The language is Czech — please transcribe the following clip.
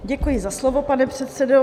Děkuji za slovo, pane předsedo.